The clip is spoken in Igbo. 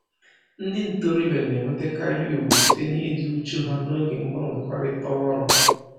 Ndị ntoroọbịa na-enwetakarị ugwu site na-ịdị uchu ha n'oge mgbanwekọrịta ọrụ